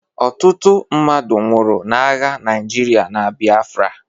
Ọtụtụ mmadụ nwụrụ n'agha Naịjirịa na Biafra